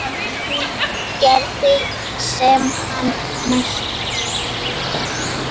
Hún gerði sem hann mælti.